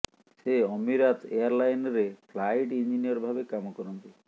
ସେ ଅମିରାତ ଏୟାର୍ଲାଇନ୍ରେ ଫ୍ଲାଇଟ୍ ଇଞ୍ଜିନିୟର୍ ଭାବେ କାମ କରନ୍ତି